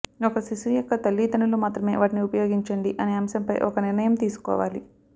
ఒక శిశువు యొక్క తల్లిదండ్రులు మాత్రమే వాటిని ఉపయోగించండి అనే అంశంపై ఒక నిర్ణయం తీసుకోవాలి